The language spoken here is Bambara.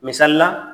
Misali la